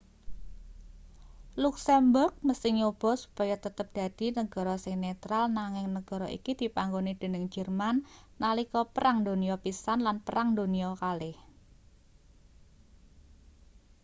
luksemburg mesthi nyoba supaya tetep dadi negara sing netral nanging negara iki dipanggoni dening jerman nalika perang donya i lan perang donya ii